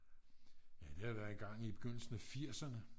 ja det har været engang i begyndelsen af 80'erne